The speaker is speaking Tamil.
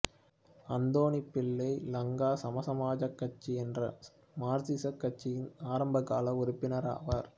அந்தோனிப்பிள்ளை லங்கா சமசமாஜக் கட்சி என்ற மார்க்சியக் கட்சியின் ஆரம்பகால உறுப்பினர் ஆவார்